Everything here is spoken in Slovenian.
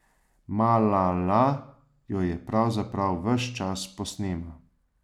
Malala jo pravzaprav ves čas posnema.